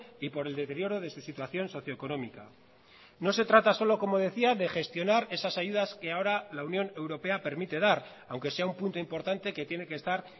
y por el deterioro de su situación socioeconómica no se trata solo como decía de gestionar esas ayudas que ahora la unión europea permite dar aunque sea un punto importante que tiene que estar